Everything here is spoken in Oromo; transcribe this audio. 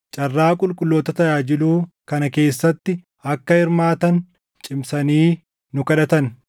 carraa qulqulloota tajaajiluu kana keessatti akka hirmaatan cimsanii nu kadhatan.